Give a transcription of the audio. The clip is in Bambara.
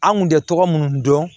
An kun tɛ tɔgɔ minnu dɔn